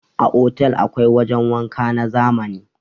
A Otal akwai wajan wanka na zamani.